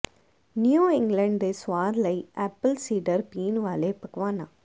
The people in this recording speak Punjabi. ਨਿਊ ਇੰਗਲੈਂਡ ਦੇ ਸੁਆਦ ਲਈ ਐਪਲ ਸੇਡਰ ਪੀਣ ਵਾਲੇ ਪਕਵਾਨਾ